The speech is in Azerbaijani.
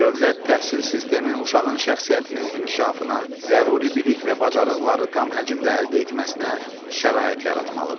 Dövlət təhsil sistemi uşağın şəxsiyyətinin inkişafına, zəruri bilik və bacarıqları tam həcmdə əldə etməsinə şərait yaratmalıdır.